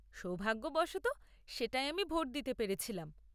সৌভাগ্যবশত, সেটায় আমি ভোট দিতে পেরেছিলাম।